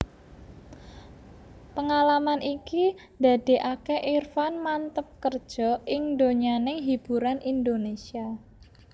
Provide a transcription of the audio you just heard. Pengalaman iki ndadékaké Irfan manteb kerja ing donyaning hiburan Indonesia